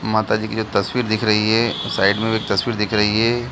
माता जी की जो तस्वीर दिख रही है साइड में भी एक तस्वीर दिख रही है।